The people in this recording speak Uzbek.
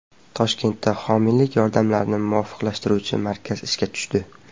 Toshkentda homiylik yordamlarini muvofiqlashtiruvchi markaz ishga tushdi.